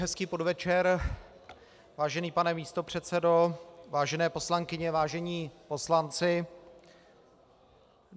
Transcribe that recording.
Hezký podvečer, vážený pane místopředsedo, vážené poslankyně, vážení poslanci.